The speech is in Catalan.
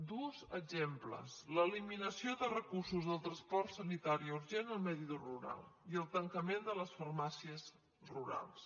dos exemples l’eliminació de recursos del transport sanitari urgent al medi rural i el tancament de les farmàcies rurals